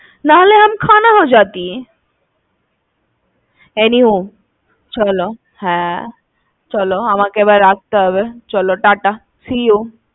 নাহলে, , anyway, চলো আমাকে এবার রাখতে হবে। চলো টাটা see you.